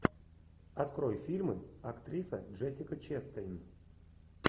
открой фильмы актриса джессика честейн